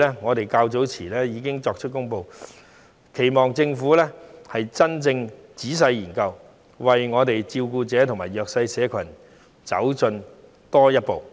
我們在較早前已經提出這項建議，期望政府會真正仔細研究，為照顧者及弱勢社群多走一步。